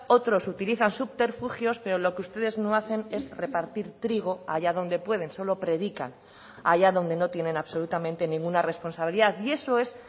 otros utilizan subterfugios pero lo que ustedes no hacen es repartir trigo allá donde pueden solo predican allá donde no tienen absolutamente ninguna responsabilidad y eso es